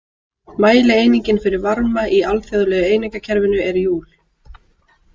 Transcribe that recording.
Mælieiningin fyrir varma í alþjóðlega einingakerfinu er júl.